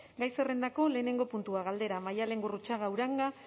gai zerrendako lehenengo puntua galdera maialen gurrutxaga uranga